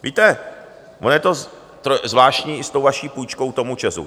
Víte, ono je to zvláštní i s tou vaší půjčkou tomu ČEZu.